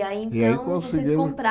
E aí, então, E aí conseguiu Vocês